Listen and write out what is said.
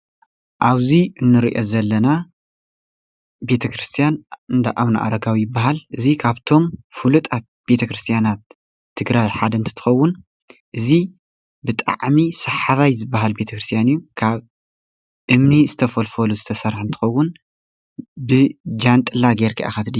እብዚ እንሪኦ ዘለና ቤተ ክርስቲያን እንዳ ኣብነአረጋዊ ይበሃል። እዙይ ካብቶም ፍሉጣት ቤተ ክርስቲያናት ትግራይ ሓደ እንትትኸውን እዙይ ብጣዕሚ ሰሓባይ ዝበሃል ቤተ ክርስቲያን እዩ ። ካብ እምኒ ዝተፈልፈሉ ዝተሰርሐ እንትኸውን ብጃንጥላ ገይርካ ኢኻ ትድይብ።